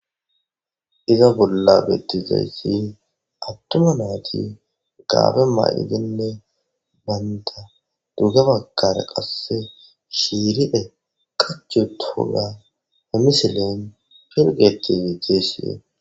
Iza bolla bettizayssin attuma naati gaabe ma'idinne baynda dugga bagkare qasse shiiride kachu toga hemisilen pirgetizi teesside.